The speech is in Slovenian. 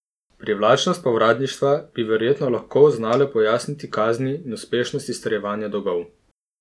Privlačnost povratništva bi verjetno lahko znale pojasniti kazni in uspešnost izterjevanja dolgov.